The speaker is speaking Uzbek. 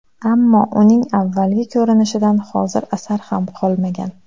Ammo uning avvalgi ko‘rinishidan hozir asar ham qolmagan.